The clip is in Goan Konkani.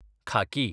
खाकी